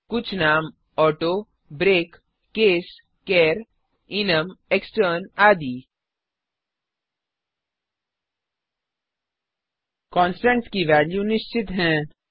कुछ नाम auto break case char const default enum extern आदि कॉन्स्टन्ट्स की वेल्यूस निश्चित हैं